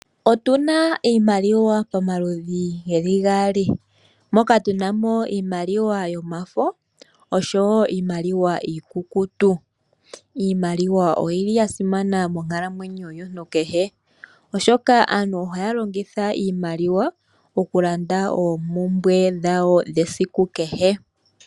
Otuna iimaliwa pa maludhi geli gaali. Moka tu namo iimaliwa yo mafo, osho woo iimaliwa iikukutu. Iimaliwa oyili ya simana monkalamwenyo yomuntu kehe shoka aantu ohaya longitha iimaliwa mokulanda ompumbwe dha wo dhe siku kehe.